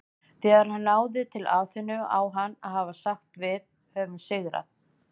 Þegar hann náði til Aþenu á hann að hafa sagt Við höfum sigrað!